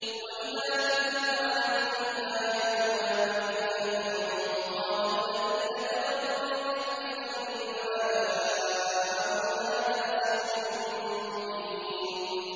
وَإِذَا تُتْلَىٰ عَلَيْهِمْ آيَاتُنَا بَيِّنَاتٍ قَالَ الَّذِينَ كَفَرُوا لِلْحَقِّ لَمَّا جَاءَهُمْ هَٰذَا سِحْرٌ مُّبِينٌ